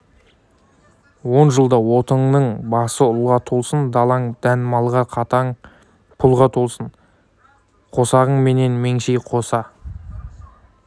он жылда отыңның басы ұлға толсын далаң дән малға қалтаң пұлға толсын қосағың менен меңеш қоса